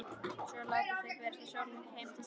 Svo láta þau berast með sólargeislunum heim til sín.